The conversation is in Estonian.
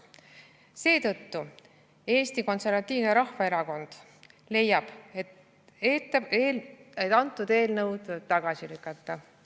Seetõttu Eesti Konservatiivne Rahvaerakond leiab, et antud eelnõu tuleb tagasi lükata.